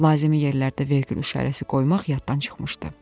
Lazımi yerlərdə vergül işarəsi qoymaq yaddan çıxmışdı.